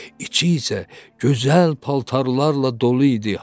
İçi isə gözəl paltarlarla dolu idi.